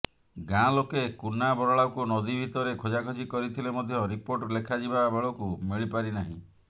ଗାଁ ଲୋକେ କୁନା ବରାଳକୁ ନଦୀ ଭିତରେ ଖୋଜାଖୋଜି କରିଥିଲେ ମଧ୍ୟ ରିପୋର୍ଟ ଲେଖାଯିବା ବେଳକୁ ମିଳିପାରି ନାହିଁ